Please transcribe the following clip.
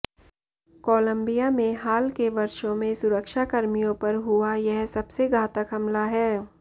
Colombia में हाल के वर्षों में सुरक्षा कर्मियों पर हुआ यह सबसे घातक हमला है